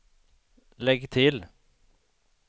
lägg till